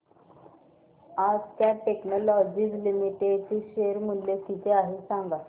आज Cat technologies limited चे share चे मूल्य किती आहे सांगा